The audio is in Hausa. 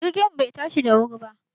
Jirgin mu bai tashi da wuri ba